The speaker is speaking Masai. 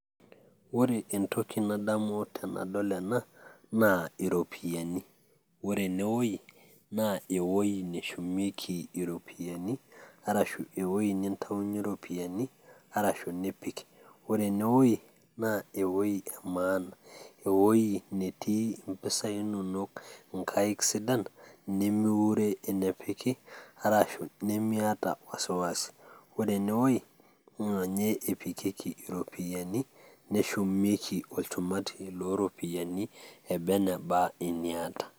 ore entoki nadamu tenadol ena naa iropyiani, ore ene wueji, naa ewuei neshumiekei iropuyiani, arashu ewui nintayunye iropiyiani, arasahu nipik, ore ene wuei naa eweeuji naa ewueji emaana, ewuei netii impisai inonok inkaik siadan, nimiure, ewueji nepiki, arashu nimiata wasiwasi. ore ene wuei naa ninye epikieki iropiyini nishumieki olchumati loo ropiyiani eba eneba anaa eniata.